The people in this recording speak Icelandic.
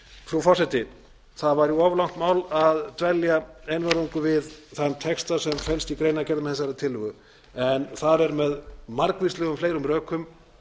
frú forseti það væri of langt mál að dvelja einvörðungu við þann texta sem felst í greinargerð með þessari tillögu en þar er með margvíslegum fleiri rökum